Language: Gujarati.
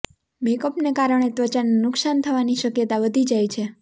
મેકઅપને કારણે ત્વચાને નુકસાન થવાની શક્યતા વધી જાય છે